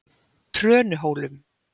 Trönuhólum